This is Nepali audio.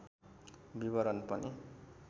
विवरण पनि